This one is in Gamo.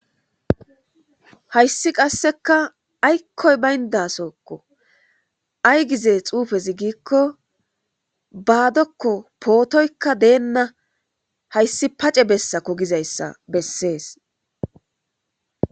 Hayssi qasseka aykkoy bayndasokko ay gize xuufezi gikko baadokko pootoykka deenna hayssi pace bessa ko gizayssa bessees.